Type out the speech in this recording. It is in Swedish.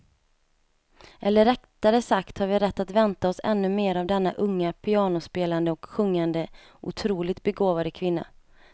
Eller rättare sagt har vi rätt att vänta oss ännu mer av denna unga pianospelande och sjungande otroligt begåvade kvinna.